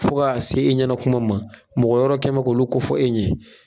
Fo k'a se e ɲɛna kuma ma mɔgɔ wɛrɛ kɛ mɛ k'olu kofɔ e ɲɛ.